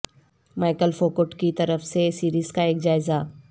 Michael Foucault کی طرف سے سیریز کا ایک جائزہ